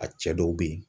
A cɛ dɔw be yen